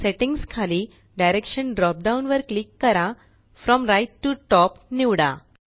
settings खाली direction drop down वर click करा फ्रॉम राइट टीओ टॉप निवडा